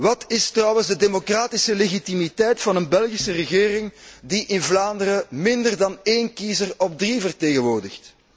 Wat is trouwens de democratische legitimiteit van een Belgische regering die in Vlaanderen minder dan één kiezer op drie vertegenwoordigt?